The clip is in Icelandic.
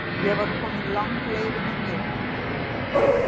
Ég var komin langleiðina niður.